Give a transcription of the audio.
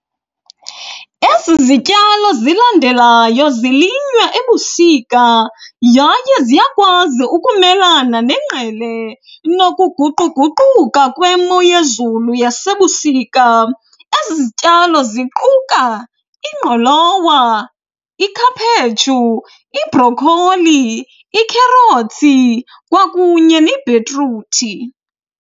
Ezi zityalo zilandelayo zilinywa ebusika yaye ziyakwazi ukumelana nengqele nokuguquguquka kwemo yezulu yasebusika. Ezi zityalo ziquka ingqolowa, ikhaphetshu ibhrokholi, ikherothi kwakunye nebhitruthi.